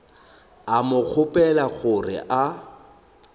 a mo kgopela gore a